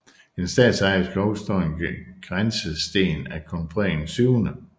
I den statsejede skov står en grænsesten af kong Frederik 7